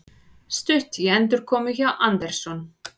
Stutt í endurkomu hjá Anderson